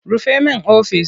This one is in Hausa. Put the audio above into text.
Rufe min ofis!